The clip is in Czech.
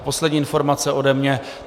A poslední informace ode mě.